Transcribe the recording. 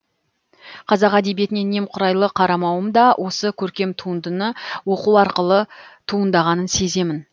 қазақ әдебиетіне немқұрайлы қарамауым да осы көркем туындыны оқу арқылы туындағанын сеземін